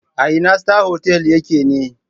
A ina Star Hotel ya ke ne?